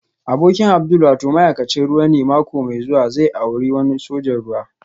Abokin Abdul wato ma'aikacin ruwa ne mako mai zuwa zai auri wani sojan ruwa